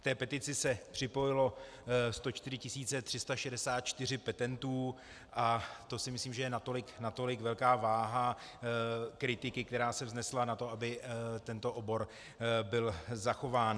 K té petici se připojilo 104 364 petentů a to si myslím, že je natolik velká váha kritiky, která se vznesla na to, aby tento obor byl zachován.